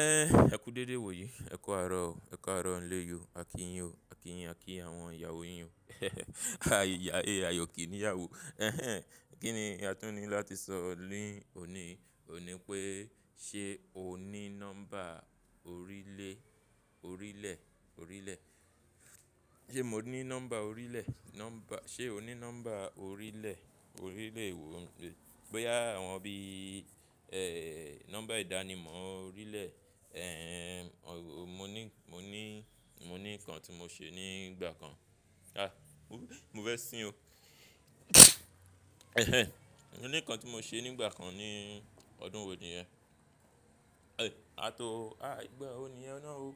Ẹ́, ẹ kú dédé wò yí. Ẹ̀ kọ́ àárọ̀ o, ẹ kọ́ àárọ̀ nílé yó. A kì yín o, a kì yín, a kí àwọn ìyàwó yín o. A yìyà, a yọ̀ kìní ìyàwó. Ehen, kí ni a tún ní láti sọ ní òní, òní pé ṣe o ní nọ́mbà orílè, orílẹ̀, orílẹ̀. Ṣé mo ní nọ́mbà orílẹ̀? Nọ́mbà, ṣe o ní nọ́mbà orílẹ̀, orílẹ̀ wò bóyá àwọn bí i, eh, nọ́mbà ìdánimọ̀ orílẹ̀, eh, mo ní, mo ní, mo ní nǹkan tí mo ṣe ní ìgbà kan. Ah, mo fẹ́ sín o. Ehen ehen mo ní nǹkan tí mo ṣe ní ìgbà kan ní ọdún wo ni yẹn? Eh, àtọ́, ah ìgbà wo ni ẹ náà o?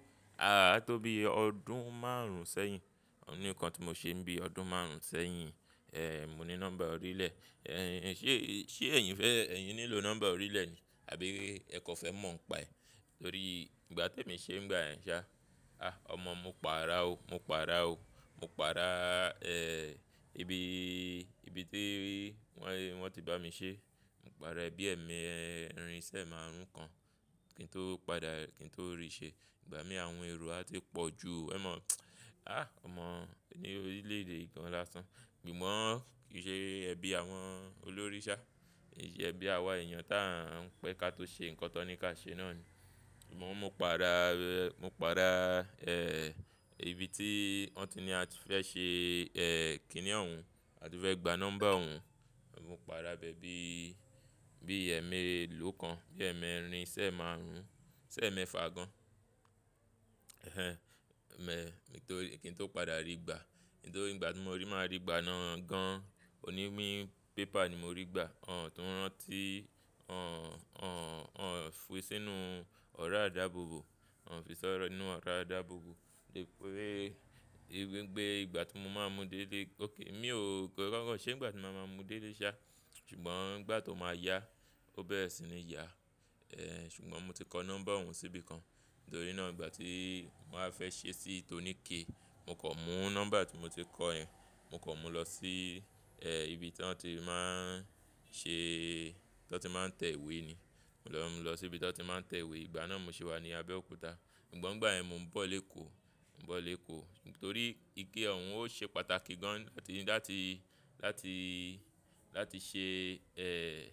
Ààtó bí i ọdún márùn-ún sẹ́yìn. Mo ní nǹkan tí mo ṣe bí i ọdún márùn-ún sẹ́yìn, eh, mo ní nọ́mbà orílẹ̀. Eh, ṣe, ṣe ẹ̀yin fẹ́, ẹ̀yin nílò nọ́mbà orílẹ̀ ni? Àbí ẹ kọ̀ fẹ́ mọ̀ ń paẹ̀? Nítorí ìgbà tí mo ṣe ń gbà yẹn sá, ah ọmọ mo pa ara o, mo pa ara o. Mo pa ara, eh, ibi, ibi tí wọ́n ti bá mi ṣé, mo pa ara ẹ bí ẹ̀ mi ẹrin sẹ́ márùn-ún kan kí n tó padà, kí n tó rì ṣe. Ìgbà mí àwọn ẹrù a ti pọ̀ ju, ẹ̀ mọ̀, ah ọmọ ni orílẹ̀ èdè kan lásán. Ṣùgbọ́n kì í ṣe ẹbí àwọn olóríṣà, kì í ṣe ẹbí àwa èèyàn tí a ń pẹ́ ká tó ṣe nǹkan tó ní ká ṣe náà ni. Ṣùgbọ́n mo pa ara, mo pa ara, eh, ibi tí wọ́n ti ní a ti fẹ́ ṣe, eh, kìíní ọ̀hún, a ti fẹ́ gba nọ́mbà ọ̀hún, mo pa ara bẹ́ bí, bí ẹ̀mi ẹlò kan, bí ẹ̀mi ẹrin sẹ́ márùn-ún, sẹ́ mẹ́fà gan. Ehen ehen, mẹ́ kí n tó padà rì gbà. Kí n tó, ìgbà tí mo máa rì gbà náà gan, òní mí pépà ni mo rí gbà. Ọ̀n tú ránti, ọ̀n, ọ̀n, ọ̀n fún sínú ọ̀rá ìdábòbò, wọ́n fi sọ́rọ̀ nínú ọ̀rọ̀ ìdábòbò wípé, wípé ìgbà tí mo máa mú dé ilé, okè mi ò kọ́, kọ́kọ́ ṣé nìgbà tí màá máa mú dé ilé sá, ṣùgbọ́n ìgbà tó máa yá, ó bẹ́ẹ̀rè sì ni yá. Eh, ṣùgbọ́n mo ti kọ nọ́mbà ọ̀hún sí ibi kan. Nítorí náà ìgbà tí màá fẹ́ ṣe sí tòníké, mo kọ̀ mú nọ́mbà tí mo ti kọ ẹ́, mo kọ̀ mú lọ sí, eh, ibi tí wọ́n ti máa ń ṣe, tí wọ́n ti máa ń tẹ ìwé ni. Mo lọ, mo lọ sí ibi tí wọ́n ti máa ń tẹ ìwé, ìgbà náà mo sì wà ní Abẹ́òkúta. Ṣùgbọ́n ìgbà yẹn mo ń bọ̀ lé kó, mo ń bọ̀ lé kó. Nítorí ike ọ̀hún ó ṣe pàtàkì gan láti, láti, láti, láti ṣe, eh,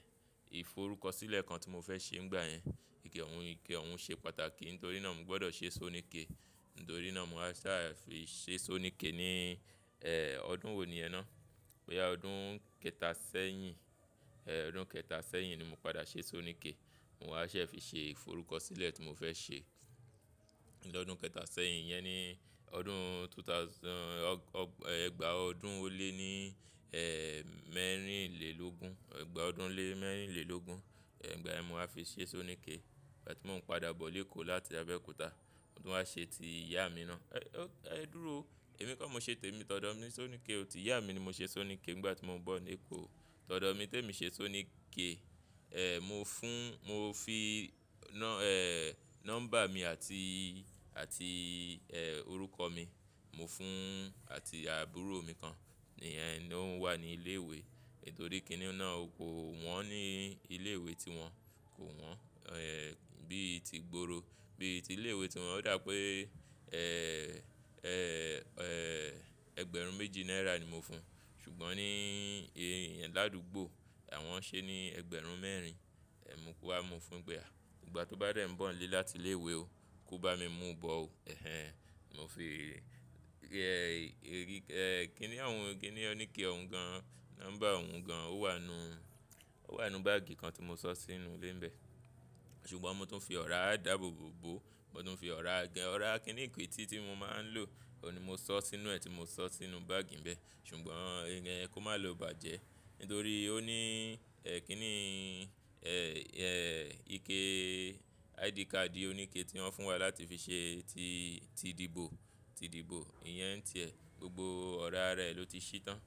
ìforúkọsílẹ̀ kan tí mo fẹ́ ṣe ńgbà yẹn. Ike ọ̀hún, ike ọ̀hún ṣe pàtàkì. Nítorí náà mo gbọ́dọ̀ ṣe sóníké. Nítorí náà mo wá sá fi ṣe sóníké ní, eh, ọdún wo ni yẹ náà? Pé yá ọdún kẹta sẹ́yìn, eh, ọdún kẹta sẹ́yìn ni mo padà ṣe sóníké. Mo wá ṣẹ́ fi ṣe ìforúkọsílẹ̀ tí mo fẹ́ ṣe. Ni ọdún kẹta sẹ́yìn yẹn ni ọdún two thousand, ọ́, ẹgba ọdún ó lé ní, eh, mẹ́rìnlélógún. Ẹgba ọdún lé mẹ́rìnlélógún. Eh, ìgbà yẹ mo wá fi ṣe sóníké. Ìgbà tí mo ń padà bọ̀ ilé kó láti Abẹ́òkúta. Mòtún wá ṣe ti ìyá mi náà. E, ẹ dúró o, èmi kọ́ mo ṣe té mi tọ̀dọ̀ mi sóníké o. Ti ìyá mi ni mo ṣe sóníké nìgbà tí mo ń bọ̀ lé kó. Tọ̀dọ̀ mi tí èmi ṣe sóníké, eh, mo fún, mo fi nọ́, eh, nọ́mbà mi àti, àti, eh, orúkọ mi, mo fún àti àbúrò mi kan ní yẹ̀ ń, ó ń wà ní ilé ìwé. Nítorí kíní náà kò wọ́n ní ilé ìwé tí wọ́n, kò wọ́n, eh, bí i ti gbòòrò. Bí i ti ilé ìwé tí wọ́n dá pé, eh, eh, eh, ẹgbẹ̀rún méjì náírà ni mo fún. Ṣùgbọ́n ní ìhẹ́ń ládùúgbò àwọn ṣe ni ẹgbẹ̀rún mẹ́rin. Eh, mo kó wá mu fún pé à. Ìgbà tó bá dẹ̀ ń bọ̀ ilé láti ilé ìwé o, kó bá mi mú u bọ o. Ehen ehen, mo fi, eh, eh, kíní ọ̀hún, kíní oníkẹ́ ọ̀hún gan, nọ́mbà ọ̀hún gan ó wà nú, ó wà nú báágì kan tí mo ṣọ́ sínú ilé ń bẹ. Ṣùgbọ́n mo tún fi ọ̀rọ̀ ìdábòbò bò, mo tún fi ọ̀rọ̀ agẹ, ọ̀rọ̀ kíníkí tí tí mo máa ń lò, òun ni mo ṣọ́ sínú ẹ́ tí mo ṣọ́ sínú báágì ń bẹ. Ṣùgbọ́n ẹ̀ń kò má lo bàjẹ́. Nítorí ó ní, eh, kíní, eh, eh, ike ID card oníkẹ́ tí wọ́n fún wa láti fi ṣe ti, ti dìbò, ti dìbò. Ìyẹn ń tẹ́ ẹ. Gbogbo ọ̀rọ̀ ara rẹ̀ ló ti ṣí tán.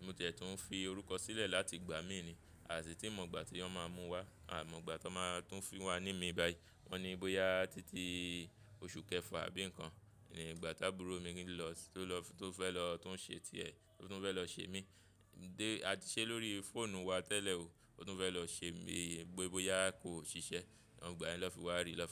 Mo tẹ̀ tó ń fi orúkọ sílẹ̀ láti gbà mí ni. Àti tí mo mọ̀ ìgbà tí wọ́n máa mú wá. Àmọ́ ìgbà tó máa tún fi wá ní mi báyìí. Wọ́n ní bóyá títí oṣù kẹfà àbí ǹkan ni ìgbà tá àbúrò mi ń lọ, tó lọ f-- tó fẹ́ lọ, tó ń ṣe ti ẹ̀, tó fẹ́ lọ ṣe mí. Dé, a ti ṣe lórí fóònù wa tẹ́lẹ̀ o. Ó tún fẹ́ lọ ṣe mi gbó, bóyá kò ṣiṣẹ́. Ní gbà yẹn ló fi wá rì lọ fún.